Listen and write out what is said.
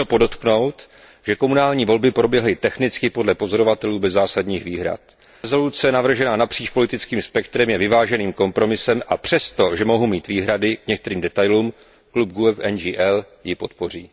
Dlužno podotknout, že komunální volby proběhly technicky podle pozorovatelů bez zásadních výhrad. Usnesení navržené napříč politickým spektrem je vyváženým kompromisem, a přesto, že mohu mít výhrady k některým detailům, klub GUE NGL je podpoří.